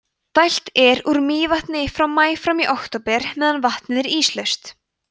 dælt er úr mývatni frá maí fram í október meðan vatnið er íslaust